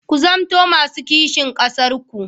Ku zamanto masu kishin ƙasarku.